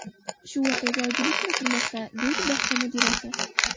Shu voqeaga oydinlik kiritilmoqda”, deydi bog‘cha mudirasi.